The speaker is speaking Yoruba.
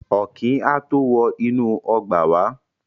Ọ̀kín á tó wọ inú ọgbà wá.